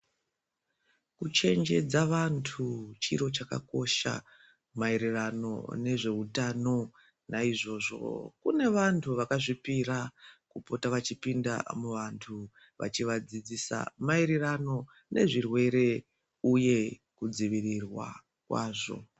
Kuchenjedza vantu chiro chakakosha maererano nezveutano naizvozvo kune vantu vakazvipira kupota vachipinda muantu vachivadzidzisa maererano nezvirwere uye kudzivirirwa kwazvo.